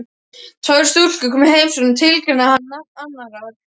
Tvær stúlkur koma í heimsókn og tilgreinir hann nafn annarrar.